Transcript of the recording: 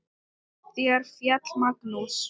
Þar féll Magnús.